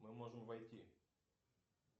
мы можем войти